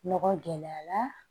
Nɔgɔ gɛlɛya la